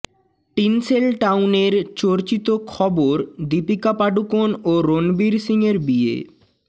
tinsel টাউনের চর্চিত খবর দীপিকা পাড়ুকোন ও রণবীর সিংয়ের বিয়ে